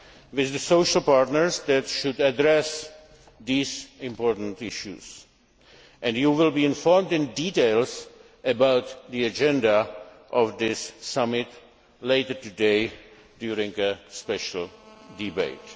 with the social partners in Prague that should address these important issues. You will be informed in detail about the agenda of this summit later today during a special debate.